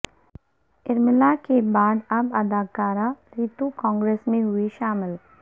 ارملا کے بعد اب اداکارہ ریتو کانگریس میں ہوئی شامل